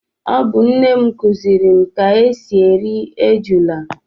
Ọ bu nne m kuziri m ka esi eri ejula